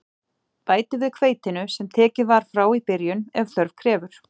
Bætið við hveitinu, sem tekið var frá í byrjun, ef þörf krefur.